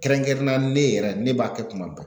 Kɛrɛnkɛrɛnnenya la ne yɛrɛ ne b'a kɛ tuma bɛɛ.